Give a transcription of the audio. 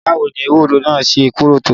Báwo ni ewúro naa ṣé korò tó?